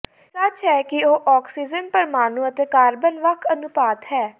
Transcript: ਇਹ ਸੱਚ ਹੈ ਕਿ ਉਹ ਆਕਸੀਜਨ ਪਰਮਾਣੂ ਅਤੇ ਕਾਰਬਨ ਵੱਖ ਅਨੁਪਾਤ ਹੈ